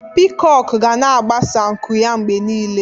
Pịkok ga na-agbasa nku ya mgbe niile.